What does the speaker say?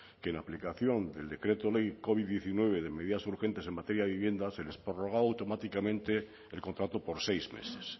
que y la aplicación del decreto ley covid diecinueve de medidas urgente en materia de vivienda se les prorrogaba automáticamente el contrato por seis meses